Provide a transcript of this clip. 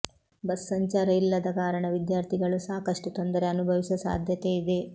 bus ಸಂಚಾರ ಇಲ್ಲದ ಕಾರಣ ವಿದ್ಯಾರ್ಥಿಗಳೂ ಸಾಕಷ್ಟು ತೊಂದರೆ ಅನುಭವಿಸುವ ಸಾಧ್ಯತೆ ಇದೆ